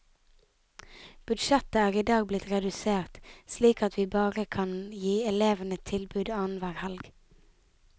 Budsjettet er i dag blitt redusert, slik at vi bare kan gi elevene tilbud annenhver helg.